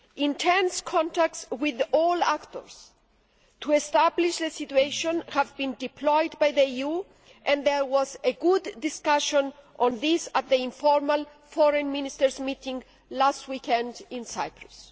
Intense contacts with all actors to establish the situation have been deployed by the EU, and there was a good discussion on this at the informal Foreign Ministers' meeting last weekend in Cyprus.